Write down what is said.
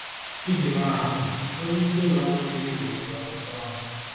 Iji maa atụ: Onyeisi ụlọ ọrụ buru ibu nwere ọtụtụ ọrụ.